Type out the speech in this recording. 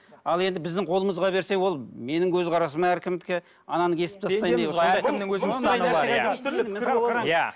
ал енді біздің қолымызға берсе ол менің көзқарасым әркімдікі ананы кесіп тастаймын